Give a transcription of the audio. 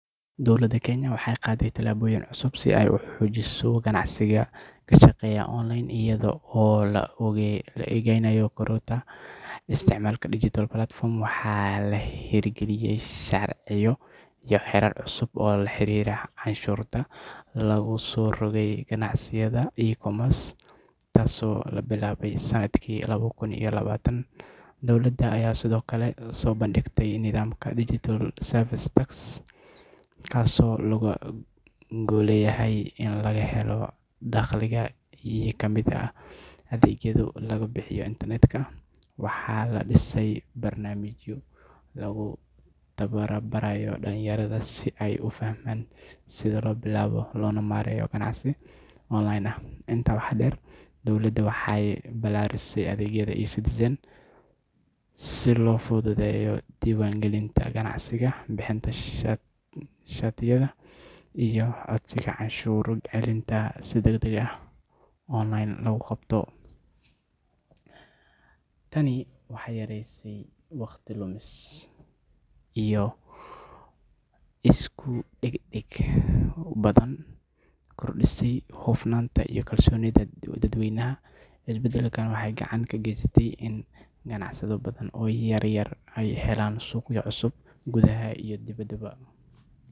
Dowladda Kenya waxay qaaday tallaabooyin cusub si ay u xoojiso ganacsiyada ka shaqeeya online iyada oo la eegayo kororka isticmaalka digital platforms. Waxaa la hirgeliyay sharciyo iyo xeerar cusub oo la xiriira canshuurta lagu soo rogay ganacsiyada e-commerce, taasoo la bilaabay sanadkii laba kun iyo labaatan. Dowladda ayaa sidoo kale soo bandhigtay nidaamka Digital Service Tax (DST), kaasoo looga golleeyahay in laga helo dakhliga ka yimaada adeegyada lagu iibiyo internetka. Waxaa la dhisay barnaamijyo lagu tababarayo dhallinyarada si ay u fahmaan sida loo bilaabo loona maareeyo ganacsi online ah. Intaa waxaa dheer, dowladda waxay ballaarisay adeegyada eCitizen si loo fududeeyo diiwaangelinta ganacsiyada, bixinta shatiyada, iyo codsiyada canshuur celinta si degdeg ah online loogu qabto. Tani waxay yaraysay waqti lumis, kordhisay hufnaanta iyo kalsoonida dadweynaha. Isbedelladan waxay gacan ka geysteen in ganacsiyo badan oo yaryar ay helaan suuqyo cusub gudaha iyo dibedda